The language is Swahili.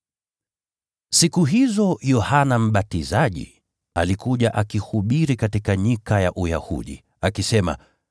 Siku hizo Yohana Mbatizaji alikuja akihubiri katika nyika ya Uyahudi, akisema,